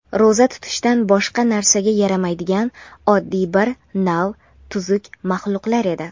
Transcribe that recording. ro‘za tutishdan boshqa narsaga yaramaydigan oddiy bir nav tuzuk maxluqlar edi.